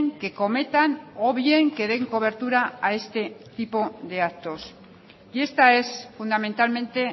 que cometan o bien que den cobertura a este tipo de actos y esta es fundamentalmente